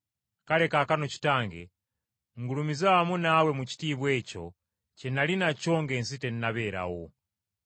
Kale kaakano, Kitange, ngulumiza wamu naawe mu kitiibwa ekyo kye nnali nakyo ng’ensi tennabeerawo.”